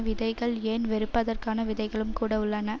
விதைகள் ஏன் வெறுப்பதற்கான விதைகளும் கூட உள்ளன